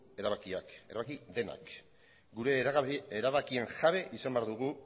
erabakiak erabaki denak gure erabakien jabe izan behar dugu